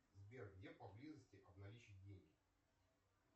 сбер где поблизости обналичить деньги